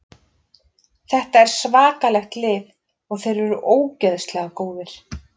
Þetta er svakalegt lið og þeir eru ógeðslega góðir.